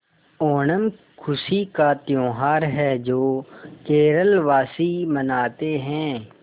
ओणम खुशी का त्यौहार है जो केरल वासी मनाते हैं